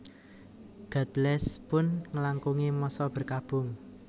God Bless pun ngelangkungi masa berkabung